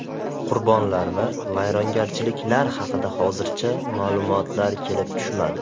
Qurbonlar va vayronagarchiliklar haqida hozircha ma’lumotlar kelib tushmadi.